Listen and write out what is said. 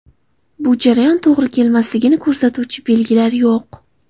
Bu jarayon to‘g‘ri kelmasligini ko‘rsatuvchi belgilar yo‘q.